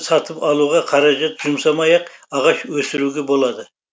сатып алуға қаражат жұмсамай ақ ағаш өсіруге болады